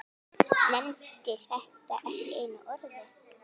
Nefndi þetta ekki einu orði.